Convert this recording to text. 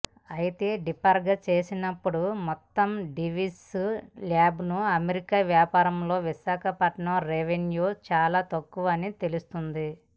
ఐతే డీప్గా చూసినప్పుడు మొత్తం దివీస్ ల్యాబ్స్ అమెరికా వ్యాపారంలో విశాఖపట్నం రెవెన్యూ చాలా తక్కువని తెలుస్తుంది